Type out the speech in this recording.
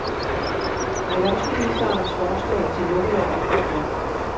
Erhvervsministerens forslag til lukkelov er godt nok.